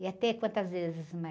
Ia ter quantas vezes mais?